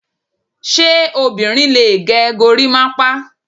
Ṣé obìnrin lè gẹ gorimapa?